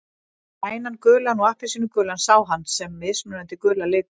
Grænan, gulan og appelsínugulan sá hann sem mismunandi gula liti.